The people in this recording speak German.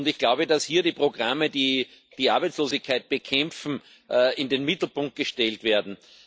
Ich glaube, dass hier die Programme, die die Arbeitslosigkeit bekämpfen, in den Mittelpunkt gestellt werden.